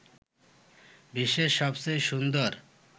বিশ্বের সবচেয়ে সুন্দর